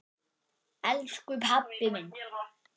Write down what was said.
Elsku pabbi minn!